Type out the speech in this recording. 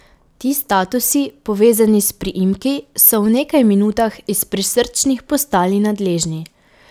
Ti statusi, povezani s priimki, so v nekaj minutah iz prisrčnih postali nadležni.